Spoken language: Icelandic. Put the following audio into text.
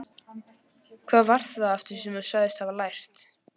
Hvað var það aftur sem þú sagðist hafa lært?